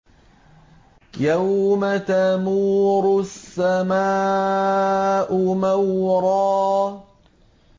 يَوْمَ تَمُورُ السَّمَاءُ مَوْرًا